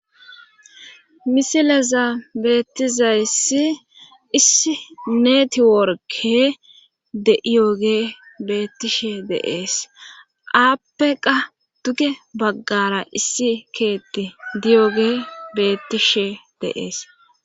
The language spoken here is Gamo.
Misilaza beettizayssi issi neetiworke de'iyoge beettishe deees aappeqa duge baggara issi keetti diyoge bettishe deees.